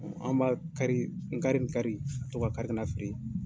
An b'a kari ngari ngari ka to ka kari ka na feere.